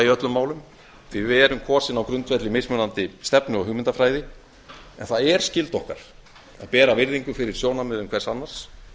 öllum málum því að við erum kosin á grundvelli mismunandi stefnu og hugmyndafræði en það er skylda okkar að bera virðingu fyrir sjónarmiðum hvers annars